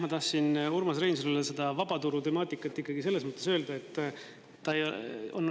Ma tahtsin Urmas Reinsalule seda vabaturu temaatikat ikkagi selles mõttes öelda.